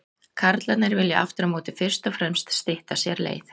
Karlarnir vilja aftur á móti fyrst og fremst stytta sér leið.